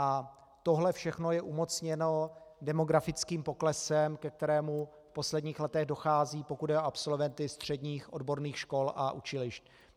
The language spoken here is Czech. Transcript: A tohle všechno je umocněno demografickým poklesem, ke kterému v posledních letech dochází, pokud jde o absolventy středních odborných škol a učilišť.